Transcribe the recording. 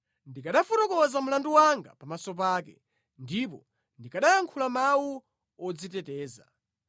Ndikanafotokoza mlandu wanga pamaso pake ndipo ndikanayankhula mawu odziteteza.